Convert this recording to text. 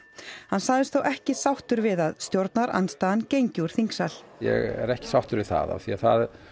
hann sagðist þó ekki sáttur við að stjórnarandstaðan gengi úr þingsal ég er ekki sáttur við það af því að það